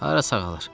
Hara sağalır?